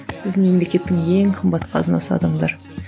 біздің мемлекеттің ең қымбат қазынасы адамдар